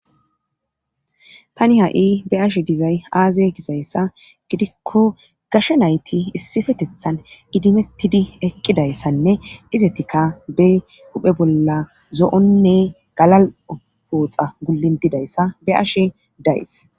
tani ha7i be ashe dizay aaze kisayssa gidikko gashe nayti issifetethan idimettidi eqqidayssanne izetika be huphe bolla zo7onne galal7pooxa gulindidayssa be'ashe days